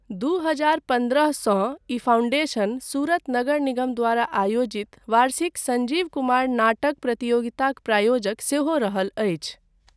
दू हजार पन्द्रह सँ ई फाउंडेशन सूरत नगर निगम द्वारा आयोजित वार्षिक संजीव कुमार नाटक प्रतियोगिताक प्रायोजक सेहो रहल अछि।